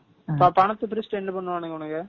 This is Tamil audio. பணத்த பிரிச்சுட்டு என்ன பண்ணுவாங்க இவனுங்க?